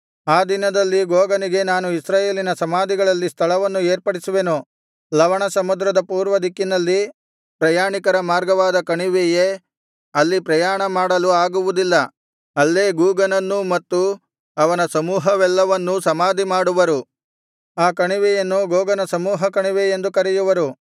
ಆ ದಿನದಲ್ಲಿ ಗೋಗನಿಗೆ ನಾನು ಇಸ್ರಾಯೇಲಿನ ಸಮಾಧಿಗಳಲ್ಲಿ ಸ್ಥಳವನ್ನು ಏರ್ಪಡಿಸುವೆನು ಲವಣ ಸಮುದ್ರದ ಪೂರ್ವದಿಕ್ಕಿನಲ್ಲಿ ಪ್ರಯಾಣಿಕರ ಮಾರ್ಗವಾದ ಕಣಿವೆಯೇ ಅಲ್ಲಿ ಪ್ರಯಾಣ ಮಾಡಲು ಆಗುವುದಿಲ್ಲ ಅಲ್ಲೇ ಗೋಗನನ್ನೂ ಮತ್ತು ಅವನ ಸಮೂಹವೆಲ್ಲವನ್ನೂ ಸಮಾಧಿ ಮಾಡುವರು ಅ ಕಣಿವೆಯನ್ನು ಗೋಗನ ಸಮೂಹದ ಕಣಿವೆ ಎಂದು ಕರೆಯುವರು